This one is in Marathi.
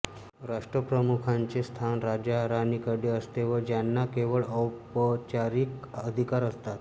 राष्ट्रप्रमुखाचे स्थान राजाराणीकडे असते व ज्यांना केवळ औपचारिक अधिकार असतात